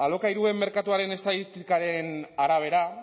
alokairuen merkatuaren estatistikaren arabera